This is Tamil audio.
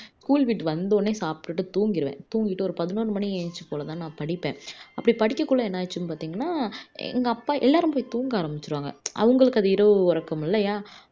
school விட்டு வந்த உடனே சாப்புட்டுட்டு தூங்கிருவேன் தூங்கிட்டு ஒரு பதினொண்ணு மணி எழுந்து போல தான் நான் படிப்பேன்அப்படி படிக்கக்குள்ள என்ன ஆச்சுன்னு பாத்தீங்கன்னா எங்க அப்பா எல்லாருமே போயி தூங்க ஆரமிச்சுடுவாங்க அவங்களுக்கு அது இரவு உரக்கம் இல்லையா